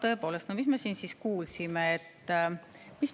Tõepoolest, mis me siin siis kuulsime?